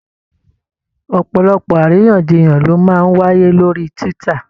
Ọ̀pọ̀lọpọ̀ àríyànjiyàn ló máa ń wáyé lórí Twitter.